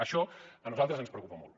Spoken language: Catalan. això a nosaltres ens preocupa molt